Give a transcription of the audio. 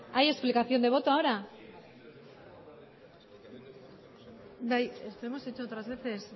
hay explicación de voto ahora bai es que hemos hecho otras veces